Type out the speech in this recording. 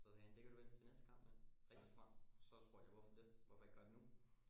Så sagde han det kan du vente til næste kamp med rigtig smart så spurgte jeg hvorfor det hvorfor ikke gøre det nu